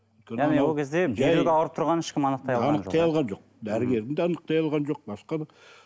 ол кезде ауырып тұрғанын ешкім анықтай алған жоқ дәрігерің де анықтай алған жоқ басқа да